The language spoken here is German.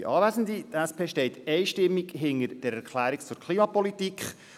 Die SP steht einstimmig hinter dieser Erklärung zur Klimapolitik.